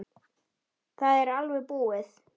Það er alveg búið.